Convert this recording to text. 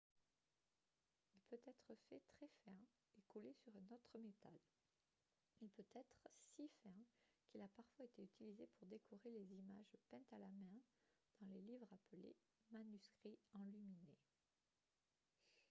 il peut être fait très fin et collé sur un autre métal. il peut être si fin qu'il a parfois été utilisé pour décorer les images peintes à la main dans les livres appelés « manuscrits enluminés »